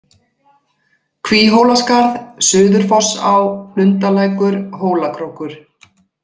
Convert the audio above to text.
Kvíhólaskarð, Suðurfossá, Lundarlækur, Hólakrókur